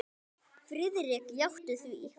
Friðrik játti því.